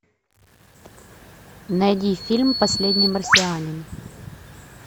найди фильм последний марсианин